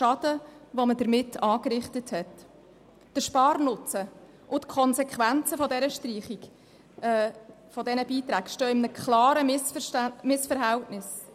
Der Sparnutzen und die Konsequenzen der Streichung dieser Beiträge stehen in einem klaren Missverhältnis.